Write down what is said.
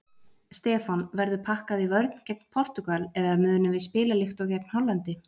Stefán: Verður pakkað í vörn gegn Portúgal eða munum við spila líkt og gegn Hollandi?